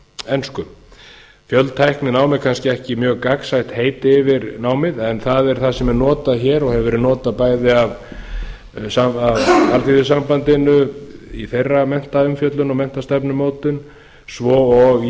ensku fjöltækninám er kannski ekki gangsætt heiti yfir námið en það er það sem er notað hér og hefur verið notað bæði af alþýðusambandinu í þeirra umfjöllun og menntastefnumótun svo og